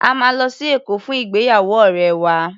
A máa lọ sí Èkó fún ìgbéyàwó ọ̀rẹ́ wa.